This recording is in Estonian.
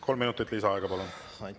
Kolm minutit lisaaega, palun!